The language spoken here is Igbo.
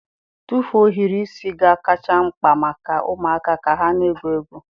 Tụfu ohiri isi ga-akacha mkpa maka ụmụaka ka ha na-egwu egwu.